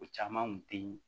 O caman kun teyi